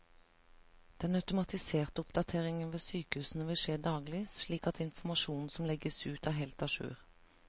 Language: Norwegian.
Den automatiserte oppdateringen ved sykehusene vil skje daglig, slik at informasjonen som legges ut er helt a jour.